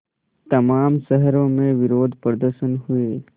तमाम शहरों में विरोधप्रदर्शन हुए